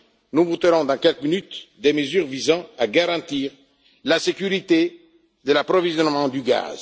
Nous voterons dans quelques minutes des mesures visant à garantir la sécurité de l'approvisionnement en gaz.